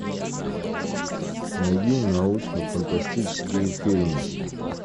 найди научно фантастические фильмы